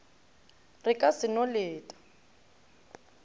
re ka se no leta